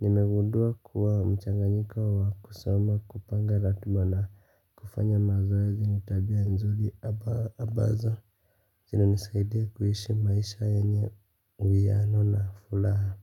Nimegundua kuwa mchanganyiko wa kusoma, kupanga ratiba na kufanya mazoezi ni tabia nzuri ambazo zina nisaidia kuishi maisha yenye uiyano na furaha.